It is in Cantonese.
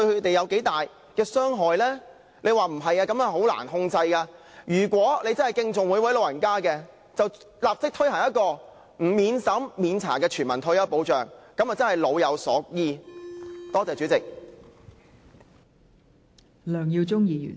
政府說如果不這樣做，情況會很難控制，但如果政府真的敬重每一位長者，便應立即推行免審查的全民退休保障，這樣便能真正做到老有所依......